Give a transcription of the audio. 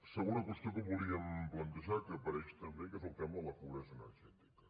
segona qüestió que volíem plantejar que apareix també que és el tema de la pobresa energètica